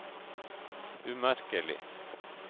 umerkelig